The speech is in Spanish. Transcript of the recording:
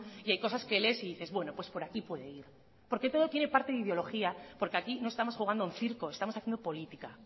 y hay cosas que lees y dices bueno pues por aquí puede ir porque todo tiene parte de ideología porque aquí no estamos jugando a un circo estamos haciendo política